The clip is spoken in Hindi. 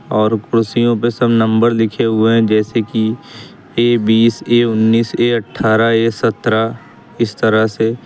और कुर्सियों पे सब नंबर लिखे हुए हैं जैसे कि ए बीस ए उन्नीस ए अट्ठारह ए सत्तरह इस तरह से।